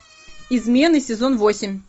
измены сезон восемь